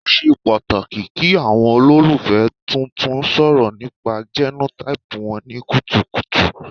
O ṣe pataki ki awọn ololufẹ tuntun sọrọ nipa genotype wọn ni kutukutu